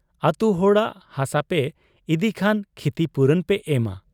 ᱟᱹᱛᱩ ᱦᱚᱲᱟᱜ ᱦᱟᱥᱟᱯᱮ ᱤᱫᱤ ᱠᱷᱟᱱ ᱠᱷᱤᱛᱤᱯᱩᱨᱚᱱ ᱯᱮ ᱮᱢᱟ ᱾